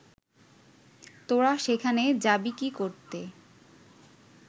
তোরা সেখানে যাবি কি করতে